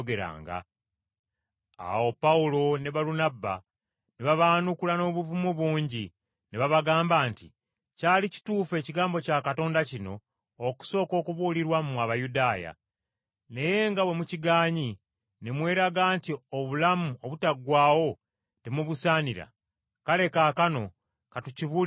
Awo Pawulo ne Balunabba ne babaanukula n’obuvumu bungi ne babagamba nti, “Kyali kituufu Ekigambo kya Katonda kino okusooka okubuulirwa mmwe Abayudaaya. Naye nga bwe mukigaanyi, ne mweraga nti obulamu obutaggwaawo temubusaanira; kale kaakano ka tukibuulire Abaamawanga.